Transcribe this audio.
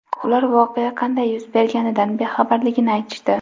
Ular voqea qanday yuz berganidan bexabarligini aytishdi.